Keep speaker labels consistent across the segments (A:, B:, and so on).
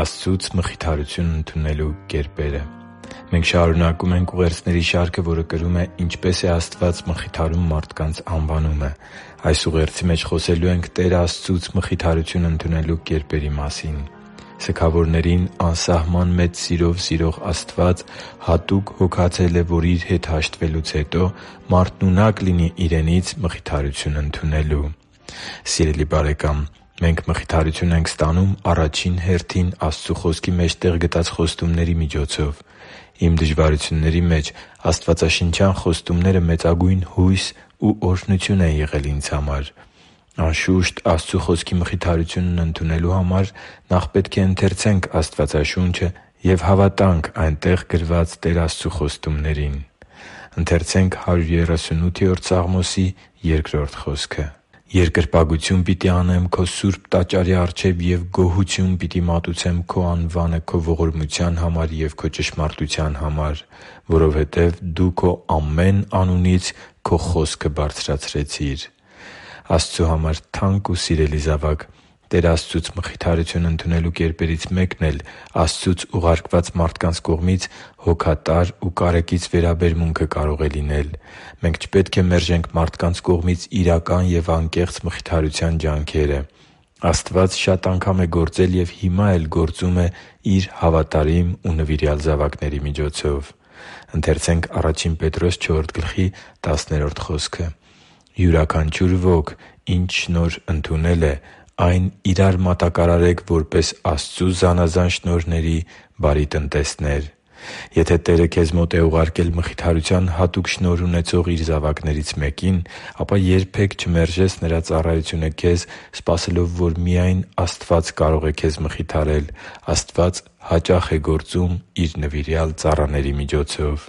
A: Աստծուց մխիթարություն ընդունելու կերպերը Մենք շարունակում ենք ուղերձների շարքը, որը կրում է «Ինչպե՞ս է Աստված մխիթարում մարդկանց»անվանումը։ Այս ուղերձի մեջ մենք խոսելու ենք Տեր Աստծուց մխիթարություն ընդունելու կերպերի մասին։ Սգավորին անսահման մեծ սիրով սիրող Աստված հատուկ հոգացել է, որ Իր հետ հաշտվելուց հետո մարդն ունակ լինի Իրենից մխիթարություն ընդունելու։ Սիրելի՛ *|FNAME|*, մենք մխիթարություն ենք ստանում առաջին հերթին Աստծու Խոսքի մեջ տեղ գտած խոստումների միջոցով։ Իմ դժվարությունների մեջ աստվածաշնչյան խոստումները մեծագույն հույս ու օրհնություն են եղել ինձ համար։ Անշուշտ, Աստծու Խոսքի մխիթարությունն ընդունելու համար պետք է նախ ընթերցել Աստվածաշունչը և հավատալ այնտեղ գրված Տեր Աստծու խոստումներին։ «Երկրպագություն պիտի անեմ Քո սուրբ տաճարի առջև և գոհություն պիտի մատուցեմ Քո անվանը Քո ողորմության համար և Քո ճշմարտության համար, որովհետև Դու Քո ամեն անունից Քո խոսքը բարձրացրիր» (Սաղմոս 138.2): Աստծո համար թանկ ու սիրելի՛ *|FNAME|*, Տեր Աստծուց մխիթարություն ընդունելու կերպերից մեկն էլ Աստծուց ուղարկված մարդկանց կողմից հոգատար ու կարեկից վերաբերմունքը կարող է լինել։ Մենք չպետք է մերժենք մարդկանց կողմից իրական ու անկեղծ մխիթարության ջանքերը։ Աստված շատ անգամ է գործել և հիմա էլ գործում է Իր հավատարիմ ու նվիրյալ զավակների միջոցով։ «Յուրաքանչյուր ոք ինչ շնորհ ընդունել է, այն իրա՛ր մատակարարեք որպես Աստծու զանազան շնորհների բարի տնտեսներ» (Ա Պետրոս 4․10): Եթե Տերը քեզ մոտ է ուղարկել մխիթարության հատուկ շնորհ ունեցող Իր զավակներից մեկին, ապա երբե՛ք չմերժես նրա ծառայությունը քեզ՝ սպասելով, որ միայն Աստված կարող է քեզ մխիթարել։ Աստված հաճախ է գործում Իր նվիրյալ ծառաների միջոցով։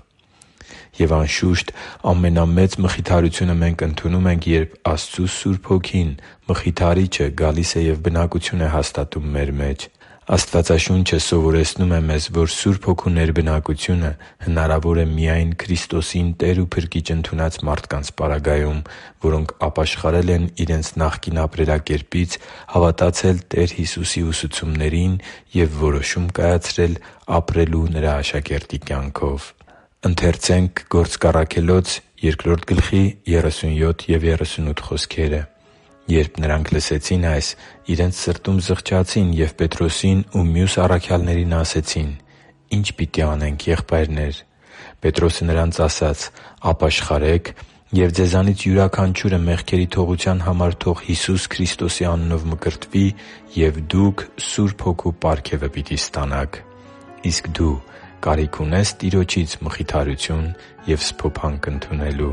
A: Եվ, անշուշտ, ամենամեծ մխիթարությունը մենք ընդունում ենք, երբ Աստծու Սուրբ Հոգին՝ Մխիթարիչը, գալիս է և բնակություն է հաստատում մեր մեջ։ Աստվածաշունչը սովորեցնում է մեզ, որ Սուրբ Հոգու ներբնակությունը հնարավոր է միայն Քրիստոսին Տեր ու Փրկիչ ընդունած մարդկանց պարագայում, որոնք ապաշխարել են իրենց նախկին ապրելակերպից, հավատացել Տեր Հիսուսի ուսուցումներին և որոշում կայացրել ապրելու Նրա աշակերտի կյանքով։ «Երբ նրանք այս լսեցին, իրենց սրտում զղջացին և Պետրոսին ու մյուս առաքյալներին ասացին. «Ի՞նչ պիտի անենք, եղբայրնե՛ր»։ Պետրոսը նրանց ասաց. «Ապաշխարե՛ք, և ձեզանից յուրաքանչյուրը մեղքերի թողության համար թող Հիսուս Քրիստոսի անունով մկրտվի, և դուք Սուրբ Հոգու պարգևը պիտի ստանաք» (Գործք Առաքելոց 2․37-38): Իսկ դու կարիք ունե՞ս Տիրոջից մխիթարություն և սփոփանք ընդունելու